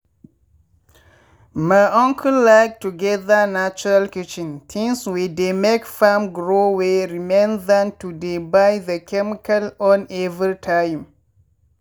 my uncle like to gather natural kitchen things wey dey make farm grow wey remain than to dey buy the chemical own every time.